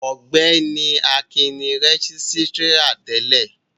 Ọgbẹni Akin ni rẹgisitira tẹlẹ.